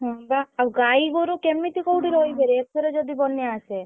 ହଁ ବା ଆଉ ଗାଇ ଗୋରୁ କେମିତି କୋଉଠି ରହିବେ ରେ ଏଥର ଯଦି ବନ୍ୟା ଆସେ?